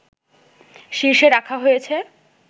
শীর্ষে রাখা হয়েছে